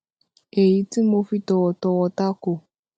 èyí tí mo fi tọ̀wọ̀tọ̀wọ̀ tako